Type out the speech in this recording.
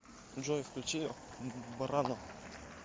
джой включи брано